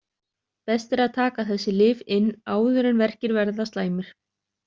Best er að taka þessi lyf inn áður en verkir verða slæmir.